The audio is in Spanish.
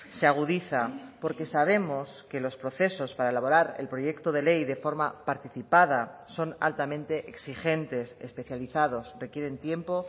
se agudiza porque sabemos que los procesos para elaborar el proyecto de ley de forma participada son altamente exigentes especializados requieren tiempo